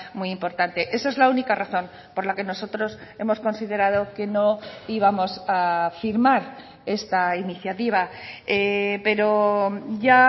muy importante esa es la única razón por la que nosotros hemos considerado que no íbamos a firmar esta iniciativa pero ya